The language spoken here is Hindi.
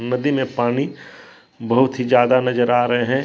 नदी में पानी बहुत ही ज्यादा नजर आ रहे हैं।